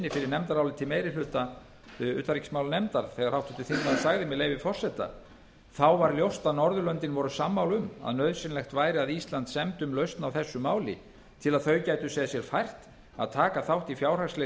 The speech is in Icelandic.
fyrir nefndaráliti meiri hluta utanríkismálanefndar ber háttvirtur þingmaður sagði með leyfi forseta þá var ljóst að norðurlöndin voru sammála um að nauðsynlegt væri að ísland semdi um lausn á þessu máli til að þau gætu séð sér fært að taka þátt í fjárhagslegri